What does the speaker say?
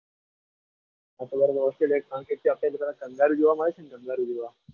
હા australia જઈશું કારણ કે ત્યાં પહેલીવાર કાંગારૂ જોવા મળે છે ને કાંગારુ જોવા?